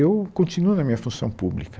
Eu continuo na minha função pública.